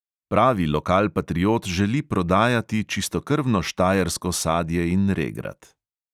Pravi lokalpatriot želi prodajati čistokrvno štajersko sadje in regrat.